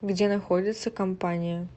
где находится компания